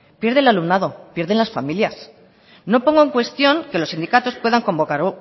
pierde el alumnado pierden las familias no pongo en cuestión que los sindicatos puedan convocar